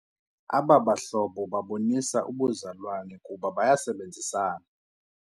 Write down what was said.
Aba bahlobo babonisa ubuzalwane kuba bayasebenzisana.